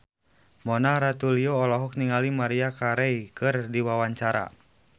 Mona Ratuliu olohok ningali Maria Carey keur diwawancara